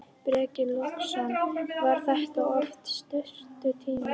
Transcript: Breki Logason: Var þetta of stuttur tími?